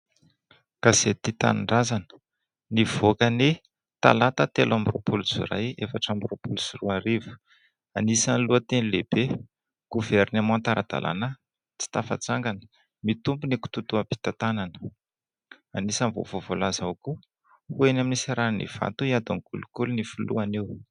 Gazety "Tia Tanindrazana" nivoaka anio talata telo amin'ny roapolo jolay efatra amby roapolo sy roa arivo ; anisany lohanteny :" lehibe governemanta ara-dalàna tsy tafatsangana mitombo ny kitoatoam-pitantanana. " Anisany vaovao voalaza ho koa " Ho eny amin'ny seranan'Ivato hiady kolikoly ny filoha anio. "